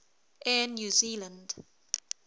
air new zealand